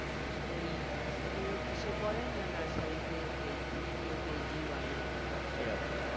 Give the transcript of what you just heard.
আহ story অথচ কিসে পড়ে না nursery তে কেও KG one এ এরকম